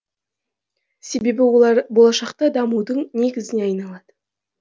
себебі олар болашақта дамудың негізіне айналады